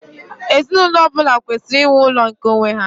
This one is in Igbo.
Ezinụlọ ọ bụla kwesịrị inwe ụlọ nke onwe ha.